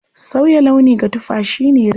Sauya launi ga tufa shi ne rini.